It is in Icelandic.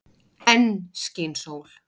Enn skín sól.